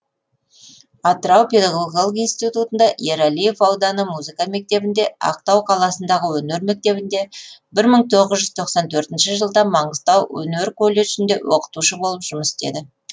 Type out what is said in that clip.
атырау педогогикалық институтында ералиев ауданы музыка мектебінде ақтау қаласындағы өнер мектебінде бір мың тоғыз жүз тоқсан төртінші жылдан маңғыстау өнер колледжінде оқытушы болып жұмыс істеді